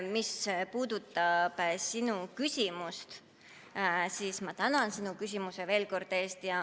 Mis puudutab sinu küsimust, siis ma tänan sinu küsimuse eest veel kord!